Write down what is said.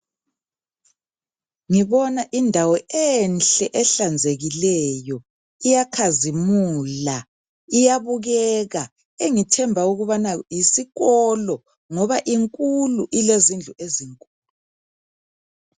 Ngibona indawo enhle ehlanzekileyo. Iyakhazimula, iyabukeka, engithemba ukubana yisikolo ngoba inkulu, ilezindlu ezi